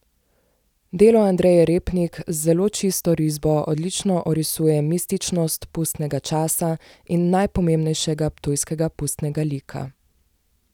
Delo Andreje Repnik z zelo čisto risbo odlično orisuje mističnost pustnega časa in najpomembnejšega ptujskega pustnega lika.